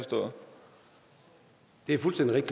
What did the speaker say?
diffust